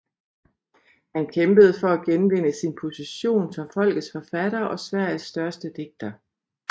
Han kæmpede for at genvinde sin position som folkets forfatter og Sveriges største digter